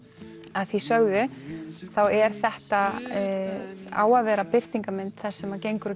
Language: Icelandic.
að því sögðu þá er þetta á að vera birtingarmynd þess sem gengur og